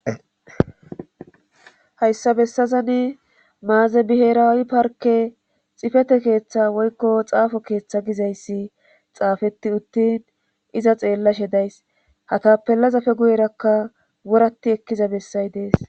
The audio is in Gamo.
hayssa bessazani maazebiherawi parke xifete keeththa woykko xaafo keeththa gizayssi xaafeti uttin iza xeellashe days hatapellazafe guyerakka wurati ekkiza bessay dees